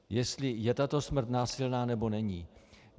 Jestli je tato smrt násilná, nebo není.